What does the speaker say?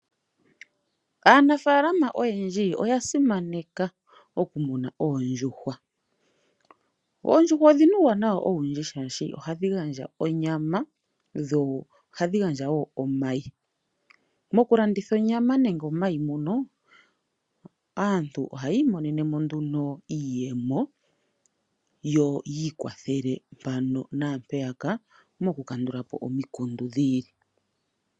Aanafaalama oyendji oku muna oondjuhwa. Oondjuhwa odhina uuwanawa owundji shaashi oha dhi gandja onyama, dho oha dhi gandja woo omayi. Moku landitha onyama nenge omayi mono, aantu oha ya imonenemo nduno iiyemo yo yi ikwathele mpano naampeyaka moku kandulapo omikundu dhiili.